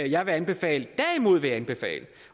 jeg vil anbefale derimod vil jeg anbefale